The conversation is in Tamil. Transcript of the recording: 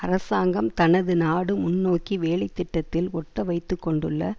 அரசாங்கம் தனது நாடு முன்னோக்கி வேலை திட்டத்தில் ஒட்டவைத்துக்கொண்டுள்ள